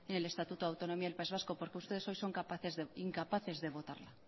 el estatuto de autonomía del país vasco porque ustedes hoy son incapaces de votarla